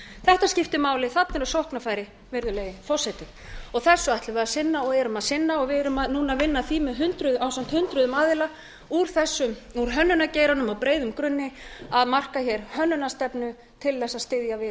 þetta skiptir mál þarna eru sóknarfæri virðulegi forseti þessu ætlum við að sinna og erum að sinna og við erum núna að vinna að því ásamt hundruðum aðila úr hönnunargeiranum á breiðum grunni að marka hér hönnunarstefnu til þess að styðja við